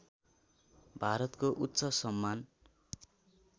भारतको उच्च सम्मान